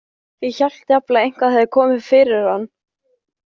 Ég hélt jafnvel að eitthvað hefði komið fyrir hann.